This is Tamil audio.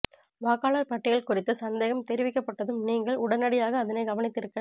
வாக்காளர் பட்டியல் குறித்து சந்தேகம் தெரிவிக்கப்பட்டதும் நீங்கள் உடனடியாக அதனைக் கவனித்திருக்க